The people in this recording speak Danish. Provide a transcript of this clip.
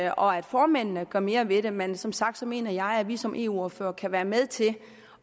og at formændene gør mere ved det men som sagt mener jeg at vi som eu ordførere kan være med til